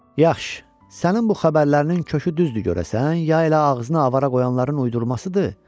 Yaxşı, sənin bu xəbərlərinin kökü düzdür görəsən, ya elə ağzına avara qoyulanların uydurmasıdır?